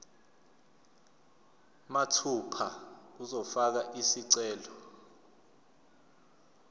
mathupha uzofaka isicelo